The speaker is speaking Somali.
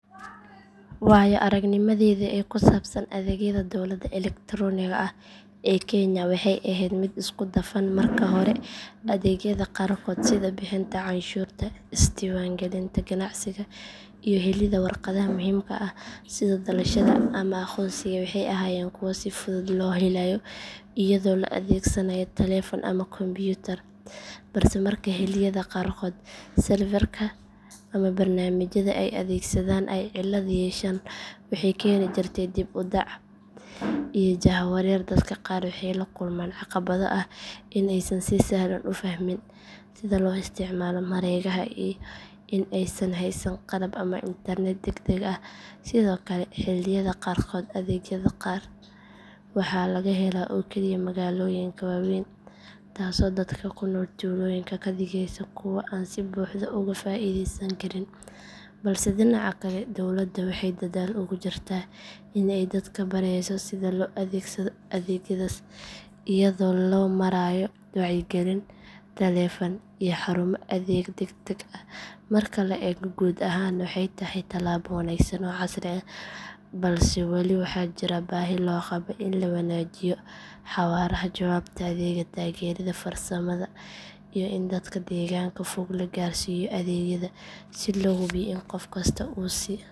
Waayo aragnimadayda ee ku saabsan adeegyada dowladda elektaroonigga ah ee kenya waxay ahayd mid isku dhafan marka hore adeegyada qaarkood sida bixinta canshuurta isdiiwaangelinta ganacsiga iyo helidda warqadaha muhiimka ah sida dhalashada ama aqoonsiga waxay ahaayeen kuwo si fudud loo helayo iyadoo la adeegsanaayo taleefan ama kombiyuutar balse marka xilliyada qaarkood serverka ama barnaamijyada ay adeegsadaan ay cilad yeeshaan waxay keeni jirtay dib u dhac iyo jahawareer dadka qaar waxay la kulmaan caqabado ah in aysan si sahlan u fahmin sida loo isticmaalo mareegaha iyo in aysan haysan qalab ama internet degdeg ah sidoo kale xilliyada qaarkood adeegyada qaar waxaa laga helaa oo keliya magaalooyinka waaweyn taasoo dadka ku nool tuulooyinka ka dhigaysa kuwo aan si buuxda uga faa’iidaysan karin balse dhinaca kale dowladda waxay dadaal ugu jirtaa in ay dadka barayso sida loo adeegsado adeegyadaas iyadoo loo marayo wacyigelin taleefan iyo xarumo adeeg degdeg ah marka la eego guud ahaan waxay tahay talaabo wanaagsan oo casri ah balse wali waxaa jira baahi loo qabo in la wanaajiyo xawaaraha jawaabta adeega taageerada farsamada iyo in dadka deegaanka fog la gaarsiiyo adeegyada si loo hubiyo in qof kasta uu si siman ugu faa’iideysan karo